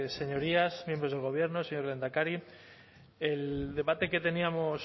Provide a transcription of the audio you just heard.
señorías miembros del gobierno señor lehendakari el debate que teníamos